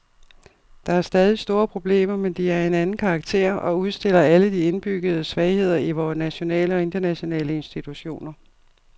Der er stadig store problemer, men de er af en anden karakter og udstiller alle de indbyggede svagheder i vore nationale og internationale institutioner.